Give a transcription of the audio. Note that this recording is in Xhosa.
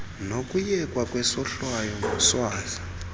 nokuyekwa kwesohlwayo ngoswazi